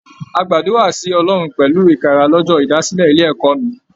A gbàdúrà sí Ọlọrun pẹlu ikara l'ọjọ ìdásílẹ̀ ilé ẹ̀kọ́ mi.